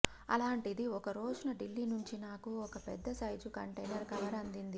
అలాంటిది ఒకరోజున ఢిల్లీ నుంచి నాకు ఒక పెద్దసైజు కంటైనర్ కవర్ అందింది